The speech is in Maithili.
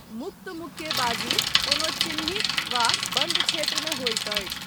मुक्त मुक्केबाजी कोनो चिह्नित वा बन्दक्षेत्र मे होइत अछि।